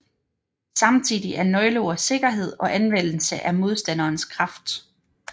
Samtidig er nøgleord sikkerhed og anvendelse af modstanderens kraft